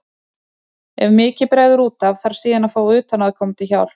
Ef mikið bregður út af þarf síðan að fá utanaðkomandi hjálp.